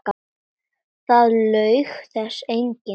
Það laug þessu enginn.